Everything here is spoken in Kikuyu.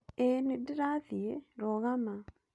Ĩĩ nĩ ndĩrathiĩ, rũgama.